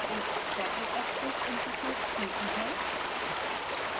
एक rapid access interface खुलती है